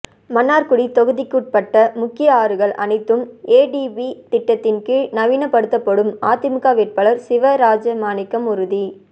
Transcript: மன்னார்குடி தொகுதிக்குட்பட்ட முக்கிய ஆறுகள் அனைத்தும் ஏடிபி திட்டத்தின் கீழ் நவீனப்படுத்தப்படும் அதிமுக வேட்பாளர் சிவா ராஜமாணிக்கம் உறுதி